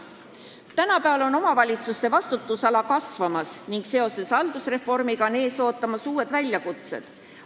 Tänapäeval on omavalitsuste vastutusala kasvamas, seoses haldusreformiga ootavad ees uued väljakutsed.